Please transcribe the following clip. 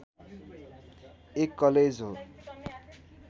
एक कलेज हो